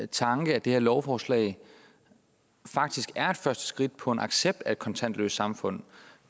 tanke at det her lovforslag faktisk er et første skridt på en accept af et kontantløst samfund